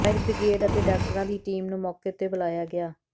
fire brigade ਅਤੇ ਡਾਕਟਰਾਂ ਦੀ ਟੀਮ ਨੂੰ ਮੌਕੇ ਉਤੇ ਬੁਲਾਇਆ ਗਿਆ